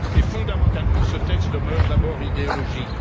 Fondamentalement, ce texte demeure d'abord idéologique.